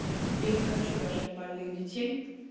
я не хочу рожать больных детей